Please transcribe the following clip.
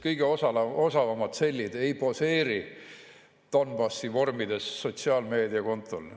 Kõige osavamad sellid ei poseeri Donbassi vormides sotsiaalmeediakontol.